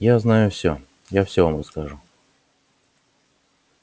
я знаю всё я всё вам расскажу